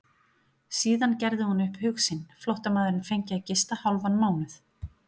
Síðan gerði hún upp hug sinn, flóttamaðurinn fengi að gista hálfan mánuð.